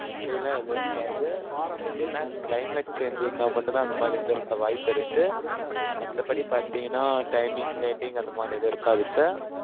அப்படியெல்லாம் எதுவும் இருக்காது. but எதுனா climate change இருந்தா மட்டும்தான், அந்த மாதிரி இருந்திருக்க வாய்ப்பிருக்கு. மத்தபடி பாத்தீங்கன்னா, timing lating அந்த மாதிரி எதுவும் இருக்காது sir